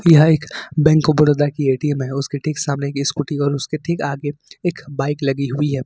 Bank of Baroda की ATM है उसकी सामने की स्कूटी और उसके ठीक आगे एक बाइक लगी हुई है।